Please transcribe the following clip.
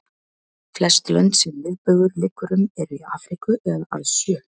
Flest lönd sem miðbaugur liggur um eru í Afríku eða alls sjö.